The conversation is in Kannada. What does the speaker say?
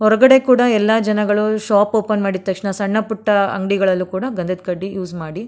ಹೊರಗಡೆ ಕೂಡ ಎಲ್ಲಾ ಜನಗಳು ಶಾಪ್ ಓಪನ್ ಮಾಡಿದ್ ತಕ್ಷಣ ಸಣ್ಣ ಪುಟ್ಟ ಅಂಗಡಿಗಳಲ್ಲಿ ಕೂಡ ಗಂಧದ ಕಡ್ಡಿ ಯೂಸ್ ಮಾಡಿ.